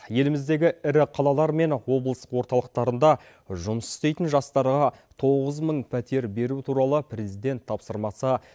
еліміздегі ірі қалалар мен облыс орталықтарында жұмыс істейтін жастарға тоғыз мың пәтер беру туралы президент тапсырмасы